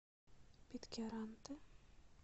питкяранте